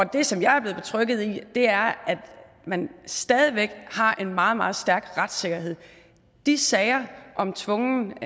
det som jeg er blevet betrygget i er at man stadig væk har en meget meget stærk retssikkerhed de sager om tvungen